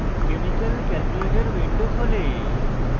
chemical calculator window খোলে